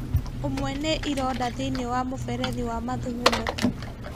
ũmwe nĩ ironda thĩinĩ wa muberethi wa mathugumo